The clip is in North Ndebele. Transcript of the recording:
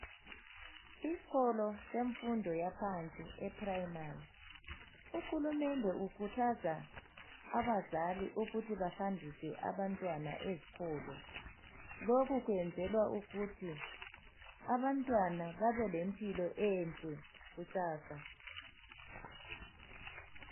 Isikolo semfundo yaphansi eprimary uhulumende ukhuthaza abazali ukuthi bahambise abantwana ezikolo. Lokhu kwenzelwa ukuthi abantu babelempilo enhle kusasa.